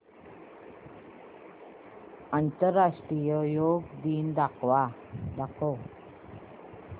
आंतरराष्ट्रीय योग दिन दाखव